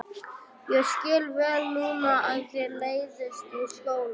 Ég skil vel núna að þér leiðist í skóla.